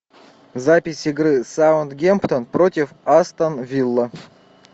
запись игры саутгемптон против астон вилла